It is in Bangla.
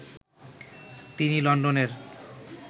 তিনি লন্ডনের